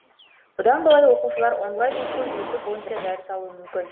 бұдан былай оқушылар онлайн оқыту жүйесі бойынша дәріс алуы мүмкін